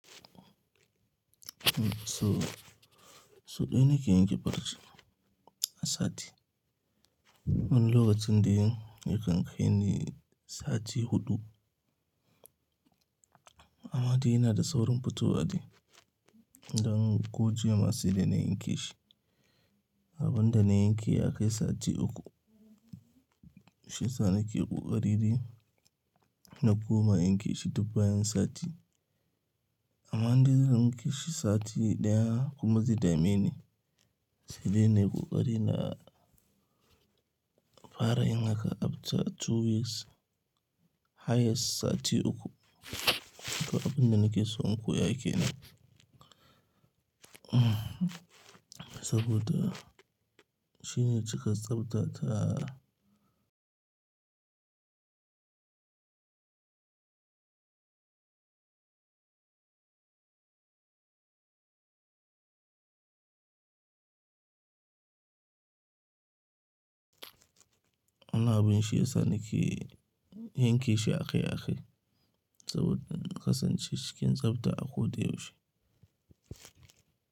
So, so ɗaya ne ke yanke barci a sati. Wani lokacin dai yakan kai ni sati huɗu. Amma dai yana da saurin fitowa dai. Dan ko jiya ma saidaa na yanke shi. Abun da na yanke ya kai sati uku. Shiyasaa na ke ƙoƙari ni na koma yanke shi duk bayan sati. Amma dai zan ƙi shi sati ɗaya kuma zai dame ni. Shi dai na yi ƙoƙari na fara yin haka after two weeks. Har yai sati uku. To abin da nake so in koya ke nan. Saboda shi ne cika tsafta ta. Wannan abin shi yasa na ƙi yanke shi a kai a kai. Saboda kasance cikin tsafta a ko da yaushe.